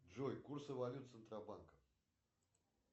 джой курсы валют центробанка